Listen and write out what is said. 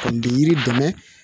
N tɛ yiri dɛmɛ